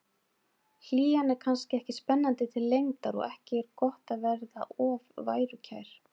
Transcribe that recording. Hlýjan er kannski ekki spennandi til lengdar og ekki er gott að verða of værukær.